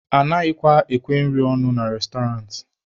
Anaghịkwa ekwe nri ọnụ na restọrantị.